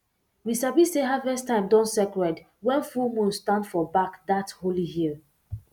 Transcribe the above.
we sabi say harvest time don sacred when full moon stand for back that holy hill